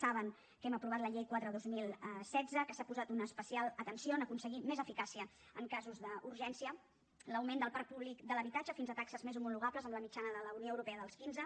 saben que hem aprovat la llei quatre dos mil setze que s’ha posat una especial atenció en aconseguir més eficàcia en casos d’urgència l’augment del parc públic de l’habitatge fins a taxes més homologables amb la mitjana de la unió europea dels quinze